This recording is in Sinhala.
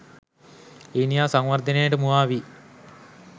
ඊනියා සංවර්ධනයට මුවා වී